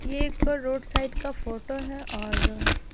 ये एक road side का फोटो है और--